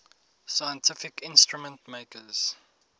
scientific instrument makers